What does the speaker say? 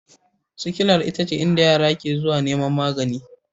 Sikilar ita ce inda yara ke zuwa neman magani